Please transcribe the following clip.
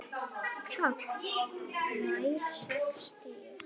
PÁLL: Nær sextíu.